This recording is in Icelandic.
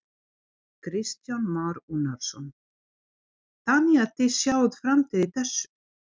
Kristján Már Unnarsson: Þannig að þið sjáið framtíð í þessu?